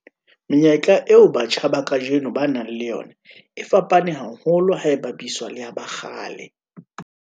Menyetla eo batjha ba kajeno ba nang le yona e fapane haholo ha e bapiswa le ya ba kgale.